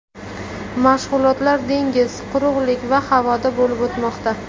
Mashg‘ulotlar dengiz, quruqlik va havoda bo‘lib o‘tmoqda.